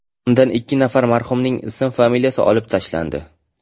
Undan ikki nafar marhumning ism-familiyasi olib tashlandi.